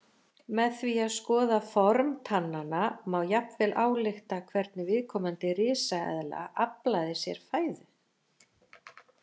Með því að skoða form tannanna má jafnvel álykta hvernig viðkomandi risaeðla aflaði sér fæðu.